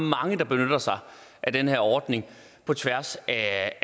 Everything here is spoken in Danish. mange der benytter sig af den her ordning af